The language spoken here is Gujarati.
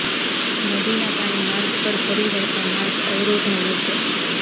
નદીના પાણી માર્ગ પર ફરી વળતાં માર્ગ અવરોધાયો છે